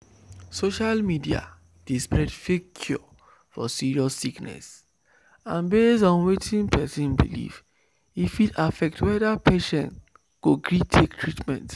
social media dey spread fake cure for serious sickness and based on wetin person believe e fit affect whether patient go gree take treatment."